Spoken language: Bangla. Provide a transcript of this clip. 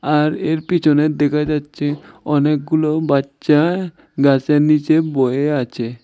আর এর পেছনে দেখা যাচ্ছে অনেকগুলো বাচ্চা গাছের নীচে বয়ে আছে।